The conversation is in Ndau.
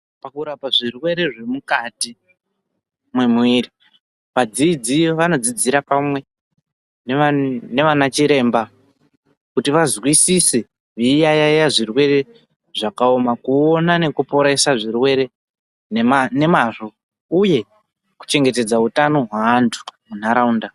PaKurapa zvirwere zvemukati mwemwiri. Vadzidzi vadzidzira pamwe nana chiremba kuti vazwidise veiyaya zvirwere zvakaoma kuona nekuporesa zvirwere nemanemazvo uye kuchengetedza utano hwaantu muntaraunda .